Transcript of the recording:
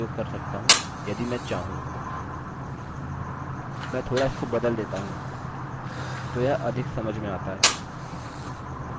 123 यहाँ क्लिक करें और यह नहीं दिख रहा है इसलिए